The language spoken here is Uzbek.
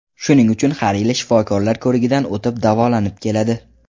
Shuning uchun har yili shifokorlar ko‘rigidan o‘tib, davolanib keladi.